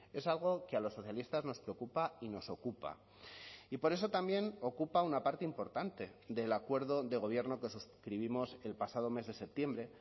es algo que a los socialistas nos preocupa y nos ocupa y por eso también ocupa una parte importante del acuerdo de gobierno que suscribimos el pasado mes de septiembre